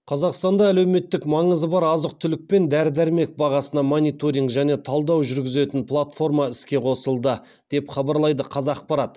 қазақстанда әлеуметтік маңызы бар азық түлік пен дәрі дәрмек бағасына мониторинг және талдау жүргізетін платформа іске қосылды деп хабарлайды қазақпарат